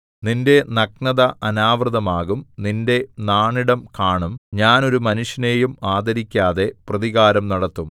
നിന്റെ നഗ്നത അനാവൃതമാകും നിന്റെ നാണിടം കാണും ഞാൻ ഒരു മനുഷ്യനെയും ആദരിക്കാതെ പ്രതികാരം നടത്തും